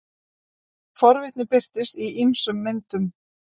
forvitni birtist í ýmsum myndum